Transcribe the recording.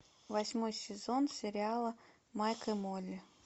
восьмой сезон сериала майк и молли